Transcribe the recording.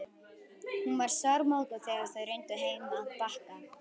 Hún var sármóðguð þegar þau renndu heim að Bakka.